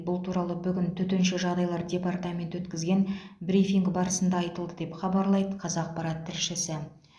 бұл туралы бүгін төтенше жағдайлар департаменті өткізген брифинг барысында айтылды деп хабарлайды қазақпарат тілшісі